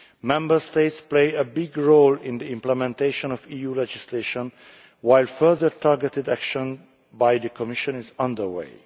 Member States play a big role in the implementation of EU legislation, while further targeted action by the Commission is under